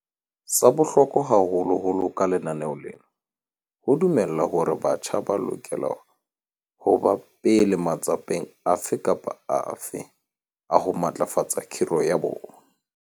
Sa bohlokwa haholo ke hore ka lenaneo lena ho dumelwa hore batjha ba lokela ho ba pele matsapeng afe kapa afe a ho matlafatsa khiro ya bona.